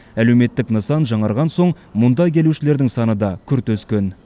әлеуметтік нысан жаңарған соң мұнда келушілердің саны да күрт өскен